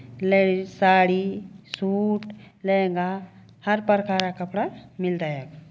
Ladies sari suit lehenga हर प्रकार का कपड़ा मिलदा यख।